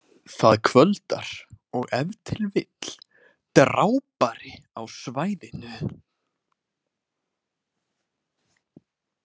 Það kvöldar og ef til vill drápari á svæðinu.